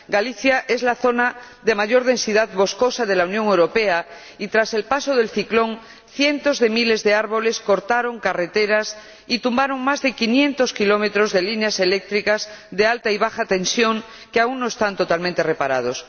Galicia es la zona de mayor densidad boscosa de la Unión Europea y, tras el paso del ciclón, cientos de miles de árboles cortaron carreteras y tumbaron más de quinientos kilómetros de líneas eléctricas de alta y baja tensión que aún no están totalmente reparadas.